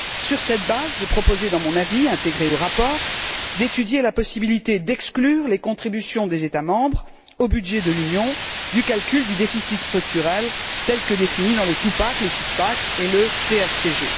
Sur cette base, je proposais, dans mon avis intégré au rapport, d'étudier la possibilité d'exclure les contributions des États membres au budget de l'Union du calcul du déficit structurel tel que défini dans le two pack le six pack et le TSCG.